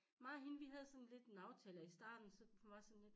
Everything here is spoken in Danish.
Mig og hende vi havde sådan lidt en aftale i starten så hun var sådan lidt